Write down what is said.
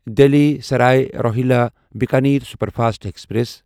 Delhi Sarai Rohilla Bikaner superfast express